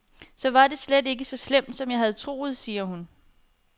Så var det slet ikke så slemt, som jeg havde troet, siger hun.